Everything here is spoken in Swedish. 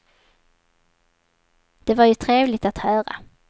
Det var ju trevligt att höra.